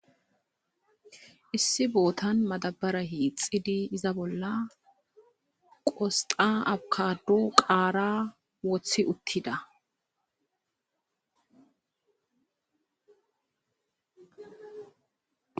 Issi biitta bolla madabbara woththidi izan qosxa abbakado qaara woththi uttida.